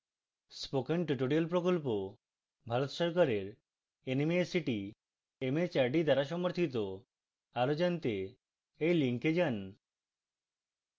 spoken tutorial প্রকল্প ভারত সরকারের nmeict mhrd দ্বারা সমর্থিত আরো জনাতে এই লিঙ্কে যান